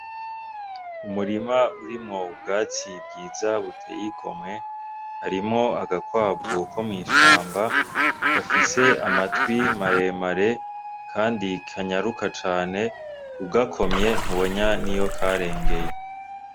Umurima urimwo ubwatsi bwiza butey'igomwe, harimwo agakwavu ko mw'ishamba gafise amatwi maremare kandi kanyaruka cane, ugakomye ntubona niyo karengeye.